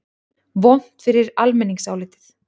Vont fyrir almenningsálitið?